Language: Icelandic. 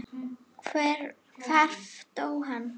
Hvar dó hann?